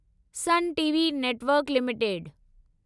sun TV network limited